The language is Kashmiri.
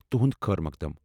تہنٛد خٲر مقدم ۔